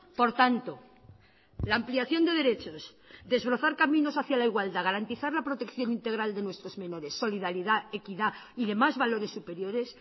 por tanto la ampliación de derechos desbrozar caminos hacia la igualdad garantizar la protección integral de nuestros menores solidaridad equidad y demás valores superiores